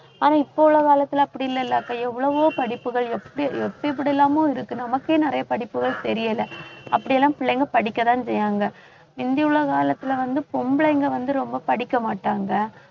ஆனா இப்ப உள்ள காலத்துல அப்படி இல்லல்ல அக்கா எவ்வளவோ படிப்புகள் எப்படி எப்படி எல்லாமோ இருக்கு நமக்கே நிறைய படிப்புகள் தெரியல அப்படி எல்லாம் பிள்ளைங்க படிக்கதான் செய்றாங்க முந்தி உள்ள காலத்துல வந்து பொம்பளைங்க வந்து ரொம்ப படிக்க மாட்டாங்க.